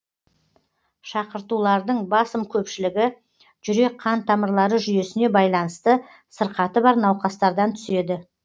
шақыртулардың басым көпшілігі жүрек қан тамырлары жүйесіне байланысты сырқаты бар науқастардан түседі